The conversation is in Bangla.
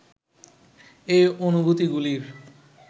এই অনুভূতিগুলির